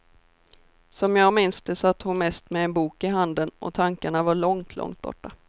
Som jag minns det satt hon mest med en bok i handen och tankarna var långt, långt borta.